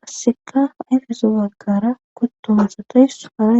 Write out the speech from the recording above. qasseka yfeso waggara kuttoma satays haaee.